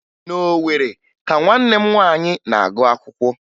Na Owere ka nwanne m nwaanyị na-agụ akwụkwọ